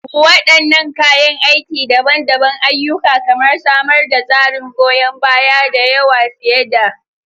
Wadannan kayan aiki daban-daban ayyuka kamar samar da tsarin goyon baya, da yawa fiye da.